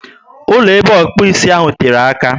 Ụlọ ebe okpu ísì ahụ tere àkà